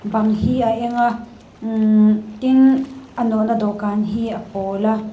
bang hi a eng a immh tin a nawh na dawh kan hi a pawl a.